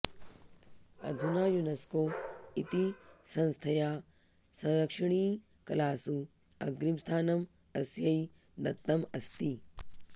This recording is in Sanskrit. अधुना युनस्को इति संस्थया संरक्षणीयकलासु अग्रिमस्थानम् अस्यै दत्तम् अस्ति